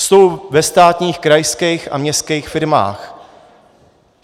Jsou ve státních, krajských a městských firmách.